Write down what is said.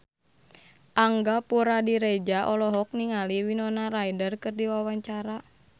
Angga Puradiredja olohok ningali Winona Ryder keur diwawancara